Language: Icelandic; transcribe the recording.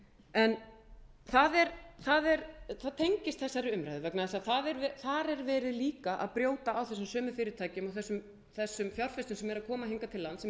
en það er tengist þessari umræðu vegna þess að þar er verið líka að brjóta á þessum sömu fyrirtækjum þessum fjárfestum sem eru að koma hingað til lands sem eru